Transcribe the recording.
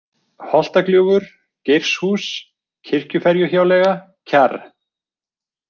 Holtagljúfur, Geirshús, Kirkjuferjuhjáleiga, Kjarr